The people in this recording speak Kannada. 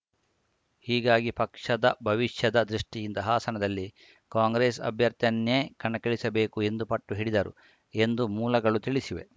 ಹೀಗಾಗಿ ಪಕ್ಷದ ಭವಿಷ್ಯದ ದೃಷ್ಟಿಯಿಂದ ಹಾಸನದಲ್ಲಿ ಕಾಂಗ್ರೆಸ್‌ ಅಭ್ಯರ್ಥಿಯನ್ನೇ ಕಣಕ್ಕಿಳಿಸಬೇಕು ಎಂದು ಪಟ್ಟು ಹಿಡಿದರು ಎಂದು ಮೂಲಗಳು ತಿಳಿಸಿವೆ